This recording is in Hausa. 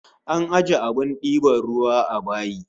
An ajiye abin diban ruwa a bayi